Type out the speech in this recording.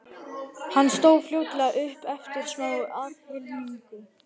Hann stóð fljótlega upp eftir smá aðhlynningu.